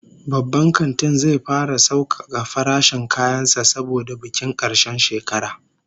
The shopping mall will start a promotion season because of New Year holidays